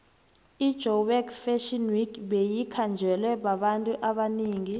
ijoburg fashion week beyikhanjelwe babantu abanengi